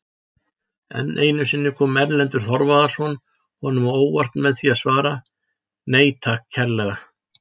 Enn einu sinni kom Erlendur Þorvarðarson honum á óvart með því að svara:-Nei takk kærlega!